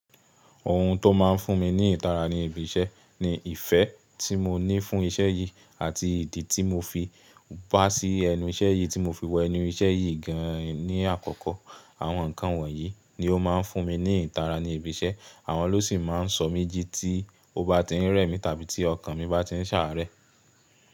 Òhun tó máa ń fún mi ní ìtara ní ibi iṣẹ́ ni ìfẹ́ tí mo ní fún iṣẹ́ yìí àti ìdí tí mo fi bá sí ẹnu iṣẹ́ yìí tí mo fi wọ ẹnu iṣẹ́ yìí gan ni àkọ́kọ́. Àwọn nǹkan wọ̀nyí ni ó máa ń fún mi ní ìtara ní ibi iṣẹ́. Àwọn ló sì máa ń sọ mí jí tí ó bá ti ń rẹ̀ mí tàbí tí ọkàn mi bá ti ń ṣàárẹ̀.